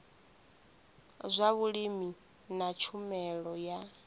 zwa vhulimi na tshumelo ya